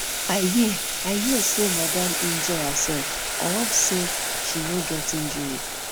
i hear i hear say madam injure herself i hope say she no get injury